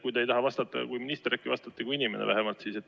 Kui te ei taha vastata kui minister, äkki vastate siis vähemalt kui inimene.